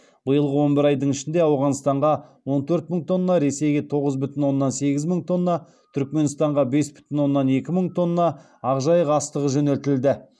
биылғы он бір айдың ішінде ауғанстанға он төрт мың тонна ресейге тоғыз бүтін оннан сегіз мың тонна түркменстанға бес бүтін оннан екі мың тонна ақ жайық астығы жөнелтілді